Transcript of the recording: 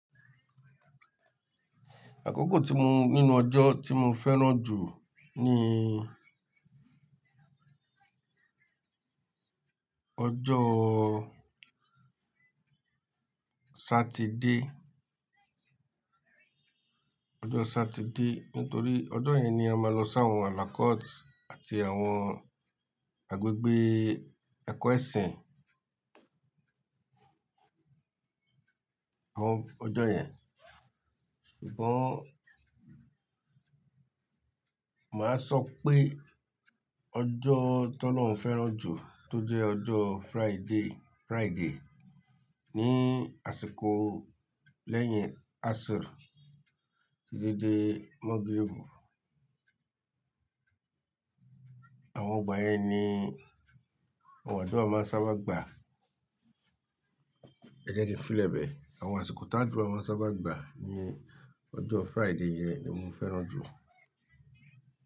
Àkókò tí mo nínú ọjọ́ tí mo fẹ́ràn jù ni ọjọ́ Saturday, ọjọ́ Saturday nítorí ọjọ́ yẹn ni a máa lọ sí àwọn àlàkótì àti àwọn agbègbè akọ́ ẹ̀sìn. Àwọn ọjọ́ yẹn. Ṣùgbọ́n màá sọ pé ọjọ́ tó lọ́ ń fẹ́ràn jù tó jẹ́ ọjọ́ Friday, Friday ní àsìkò lẹ́yìn Asr títí dé Magrib. Àwọn igbà yen ni, àwọn àdúrà máa ń sábà gbà. Ẹ jẹ́ kí n filẹ̀ bẹ. Àwọn àsìkò táàdúrà máa ń sábà gbà ní ọjọ́ Friday yẹn ni mo fẹ́ràn jù.